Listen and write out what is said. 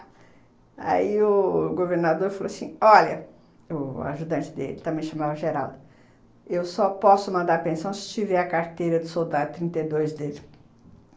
Aí o governador falou assim, olha, o ajudante dele, também chamava Geraldo, eu só posso mandar a pensão se tiver a carteira de soldado trinta e dois dele.